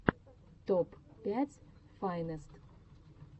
топ пять файнест